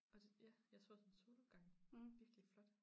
Og så ja jeg så også en solopgang virkelig flot